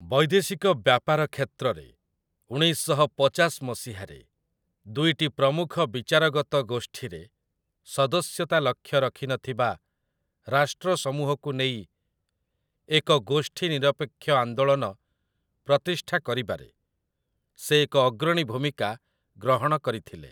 ବୈଦେଶିକ ବ୍ୟାପାର କ୍ଷେତ୍ରରେ, ଉଣେଇଶ ଶହ ପଚାଶ ମସିହାରେ, ଦୁଇଟି ପ୍ରମୁଖ ବିଚାରଗତ ଗୋଷ୍ଠୀରେ ସଦସ୍ୟତା ଲକ୍ଷ୍ୟ ରଖିନଥିବା ରାଷ୍ଟ୍ର ସମୂହକୁ ନେଇ ଏକ ଗୋଷ୍ଠୀ ନିରପେକ୍ଷ ଆନ୍ଦୋଳନ ପ୍ରତିଷ୍ଠା କରିବାରେ ସେ ଏକ ଅଗ୍ରଣୀ ଭୂମିକା ଗ୍ରହଣ କରିଥିଲେ ।